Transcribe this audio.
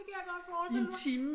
Det kan jeg godt forestille mig